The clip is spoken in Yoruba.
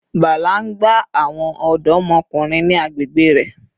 Bala n gba awọn ọdọmọkunrin ni agbegbe rẹ